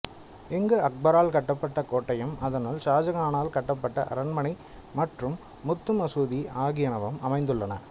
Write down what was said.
இங்கு அக்பரால் கட்டப்பட்ட கோட்டையும் அதனுள் ஷாஜகானால் கட்டப்பட்ட அரண்மனை மற்றும் முத்து மசூதி ஆகியனவும் அமைந்துள்ளன